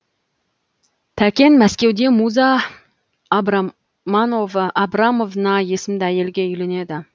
тәкен мәскеуде муза абрамовна есімді әйелге үйленеді